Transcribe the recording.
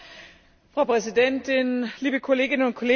Frau Präsidentin, liebe Kolleginnen und Kollegen!